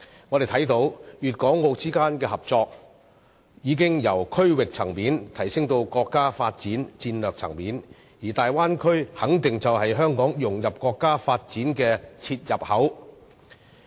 我們看到粵港澳之間的合作，已由區域層面提升至國家發展戰略層面，而大灣區肯定就是香港融入國家發展的切入口。